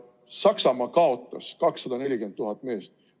Saksamaa kaotas 240 000 meest.